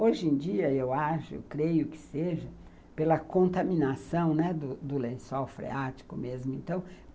Hoje em dia, eu acho, eu creio que seja pela contaminação do do lençol freático mesmo. Então,